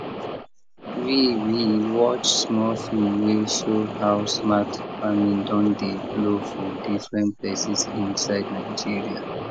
we we watch small film wey show how smart farming don dey blow for different places inside nigeria